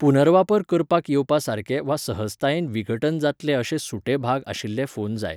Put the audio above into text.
पुनर्वापर करपाक येवपा सारके वा सहजतायेन विघटन जातलेअशे सुटे भाग आशिल्ले फोन जाय.